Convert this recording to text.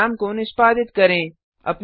programme को निष्पादित करें